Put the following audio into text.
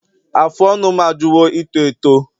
Afụ ọnụ m ajụwo ito eto